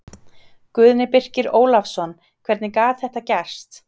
Guðni Birkir Ólafsson Hvernig gat þetta gerst?